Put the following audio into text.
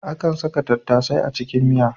Akan saka tattasai a cikin miya.